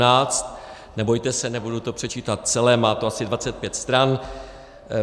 Nebojte se, nebudu to předčítat celé, má to asi 25 stran.